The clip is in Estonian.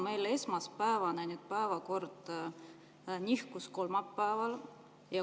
Meil esmaspäevane päevakord nihkus kolmapäeva peale.